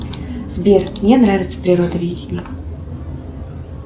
сбер мне нравится природоведение